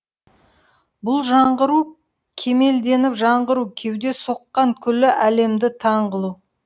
бұл жаңғыру кемелденіп жаңғыру кеуде соққан күллі әлемді таң қылу